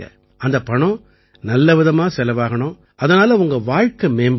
அந்தப் பணம் நல்லவிதமா செலவாகணும் அதனால உங்க வாழ்க்கை மேம்படணும்